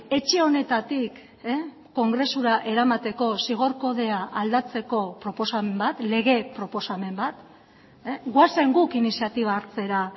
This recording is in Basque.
etxe honetatik kongresura eramateko zigor kodea aldatzeko proposamen bat lege proposamen bat goazen guk iniziatiba hartzera